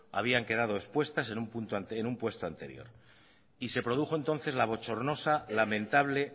habían quedado expuestas en un puesto anterior y se produjo entonces la bochornosa lamentable